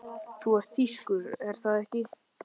Þú ert þýskur- er það ekki?